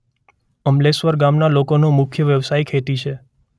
અમલેશ્વર ગામના લોકોનો મુખ્ય વ્યવસાય ખેતી છે.